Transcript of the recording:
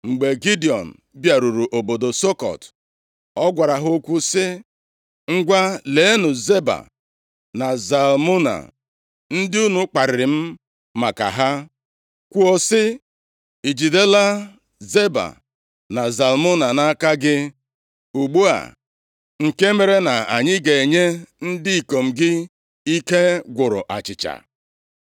Mgbe Gidiọn bịaruru obodo Sukọt, ọ gwara ha okwu sị, “Ngwa leenụ Zeba na Zalmuna ndị unu kparịrị m maka ha, kwuo sị, ‘Ijidela Zeba na Zalmuna nʼaka gị ugbu a nke mere na anyị ga-enye ndị ikom gị ike gwụrụ achịcha?’ ”